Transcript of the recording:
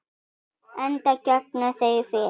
Enda gengu þau fyrir.